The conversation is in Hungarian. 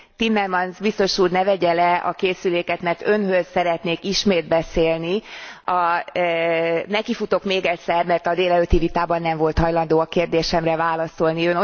Timmermans biztos úr ne vegye le a készüléket, mert Önhöz szeretnék ismét beszélni. Nekifutok még egyszer, mert a délelőtti vitában nem volt hajlandó a kérdésemre válaszolni.